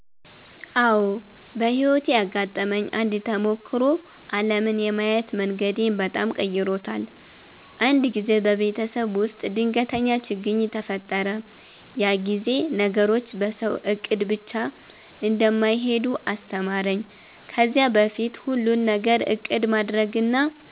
አዎ፣ በሕይወቴ ያጋጠመኝ አንድ ተሞክሮ ዓለምን የማየት መንገዴን በጣም ቀይሮታል። አንድ ጊዜ በቤተሰብ ውስጥ ድንገተኛ ችግኝ ተፈጠረ፤ ያ ጊዜ ነገሮች በሰው እቅድ ብቻ እንደማይሄዱ አስተማረኝ። ከዚያ በፊት ሁሉን ነገር እቅድ ማድረግና